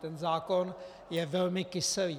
Ten zákon je velmi kyselý.